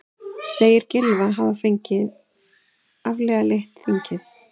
Segir Gylfa hafa afvegaleitt þingið